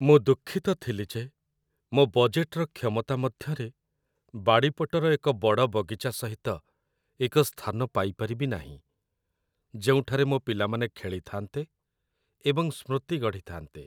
ମୁଁ ଦୁଃଖିତ ଥିଲି ଯେ ମୋ ବଜେଟ୍‌‌‌ର କ୍ଷମତା ମଧ୍ୟରେ ବାଡ଼ିପଟର ଏକ ବଡ଼ ବଗିଚା ସହିତ ଏକ ସ୍ଥାନ ପାଇପାରିବି ନାହିଁ, ଯେଉଁଠାରେ ମୋ ପିଲାମାନେ ଖେଳିଥାନ୍ତେ ଏବଂ ସ୍ମୃତି ଗଢ଼ିଥାନ୍ତେ